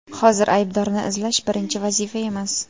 Hozir aybdorni izlash – birinchi vazifa emas.